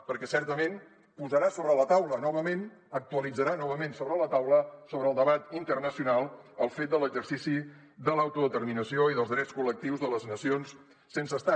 perquè certament posarà sobre la taula novament actualitzarà novament sobre la taula sobre el debat internacional el fet de l’exercici de l’autodeterminació i dels drets col·lectius de les nacions sense estat